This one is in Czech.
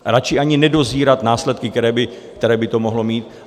Radši ani nedozírat následky, které by to mohlo mít.